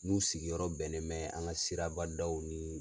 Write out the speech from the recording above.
N'u sigiyɔrɔ bɛnnen mɛ an ka siraba daw ni